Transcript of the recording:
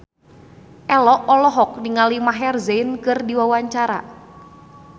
Ello olohok ningali Maher Zein keur diwawancara